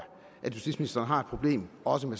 at justitsministeren har et problem også med